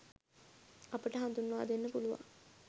අපට හඳුන්වා දෙන්න පුළුවන්.